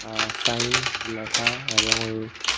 আর sign ল্যাখা এবং ওই--